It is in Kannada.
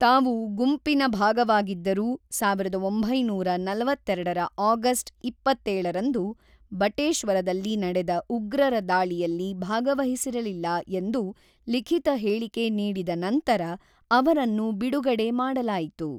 ತಾವು ಗುಂಪಿನ ಭಾಗವಾಗಿದ್ದರೂ ಸಾವಿರದ ಒಂಬೈನೂರ ನಲವತ್ತೆರಡರ ಆಗಸ್ಟ್ ಎಪ್ಪತ್ತೇಳರಂದು ಬಟೇಶ್ವರದಲ್ಲಿ ನಡೆದ ಉಗ್ರರ ದಾಳಿಯಲ್ಲಿ ಭಾಗವಹಿಸಿರಲಿಲ್ಲ ಎಂದು ಲಿಖಿತ ಹೇಳಿಕೆ ನೀಡಿದ ನಂತರ ಅವರನ್ನು ಬಿಡುಗಡೆ ಮಾಡಲಾಯಿತು.